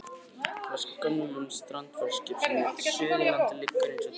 Flak af gömlu strandferðaskipi sem hét Suðurlandið liggur eins og draugaskip í fjöruborðinu.